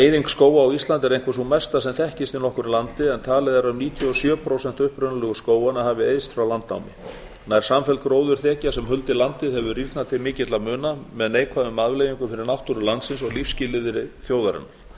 eyðing skóga á íslandi er einhver sú mesta sem þekkist í nokkru landi en talið er að um níutíu og sjö prósent upprunalegu skóganna hafi eyðst frá landnámi nær samfelld gróðurþekja sem huldi landið hefur rýrnað til mikilla muna með neikvæðum afleiðingum fyrir náttúru landsins og lífsskilyrði þjóðarinnar